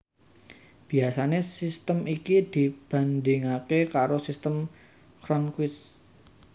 Biasané sistem iki dibandhingaké karo Sistem Cronquist